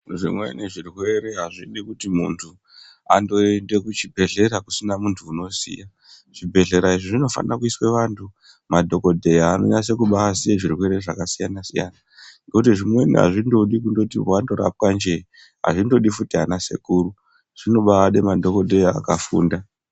Zvimweni zvirwere azvidi kuti muntu andoende kuchibhedhlera kusina muntu unoziya zvibhedhlela izvi Zvinofanira kuiswe vantu madhokodheya anonyase kubaziye zvirwere zvakasiyana siyana ngokuti zvimweni azvindodi kuti wandorapwa nje azvindodi futi ana sekuru zvinobaade madhokodheya akafunda.